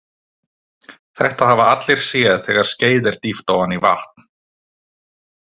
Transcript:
Þetta hafa allir séð þegar skeið er dýft ofan í vatn.